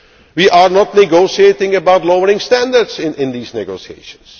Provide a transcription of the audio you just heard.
up. We are not negotiating about lowering standards in these negotiations.